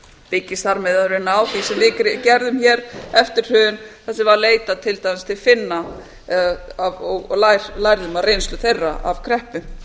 byggist þar með sem við gerðum hér eftir hrun þar sem var leitað til dæmis til finna og lærðum af reynslu þeirra af kreppu